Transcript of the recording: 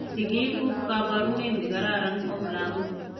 Sikik ku kaporunee nikararan om lakoik.